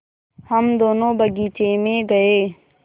हम दोनो बगीचे मे गये